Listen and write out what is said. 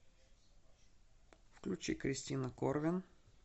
включи кристина корвин